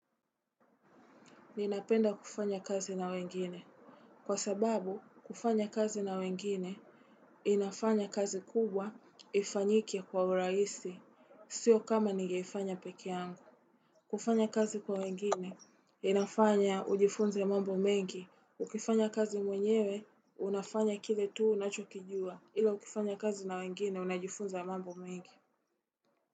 Ninapenda kufanya kazi na wengine. Kwa sababu, kufanya kazi na wengine, inafanya kazi kubwa ifanyike kwa uraisi. Sio kama nigeifanya peke yangu. Kufanya kazi kwa wengine, inafanya ujifunze mambo mengi. Ukifanya kazi mwenyewe, unafanya kile tu unacho kijua. Ila ukifanya kazi na wengine, unajifunza mambo mengi.